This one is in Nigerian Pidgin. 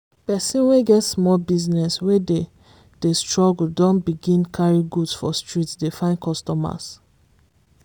persin wey get small business wey dey dey struggle don begin carry goods for street dey find customers.